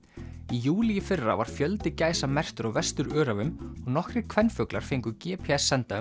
í júlí í fyrra var fjöldi gæsa merktur á Vesturöræfum og nokkrir kvenfuglar fengu g p s senda um